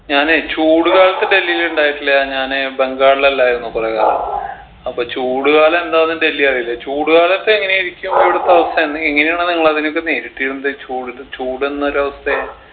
ഞാനേ ചൂട് കാലത്ത് ഡൽഹീല് ഇണ്ടായിട്ടില്ല ഞാന് ബംഗാളിലല്ലായിരുന്നോ കൊറേ കാലം അപ്പോ ചൂട് കാലം എന്താന്ന് ഡൽഹി അറീല ചൂട് കാലത്ത് എങ്ങനെയായിരിക്കും ഇവിടത്തെ അവസ്ഥ എന്ന് എങ്ങനെയാണ് നിങ്ങൾ അതിനെയൊക്കെ നേരിട്ടിരുന്നത് ചൂട് ചൂടെന്നൊരവസ്ഥയെ